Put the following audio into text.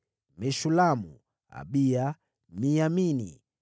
Meshulamu, Abiya, Miyamini,